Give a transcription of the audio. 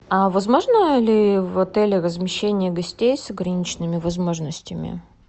а возможно ли в отеле размещение гостей с ограниченными возможностями